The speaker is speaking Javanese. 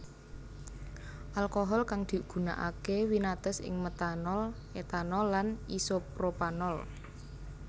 Alkohol kang digunakake winates ing metanol etanol lan isopropanol